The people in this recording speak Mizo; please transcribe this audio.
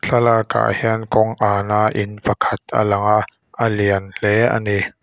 thlalak ah hian kawng an a in pakhat a lang a a lian hle ani.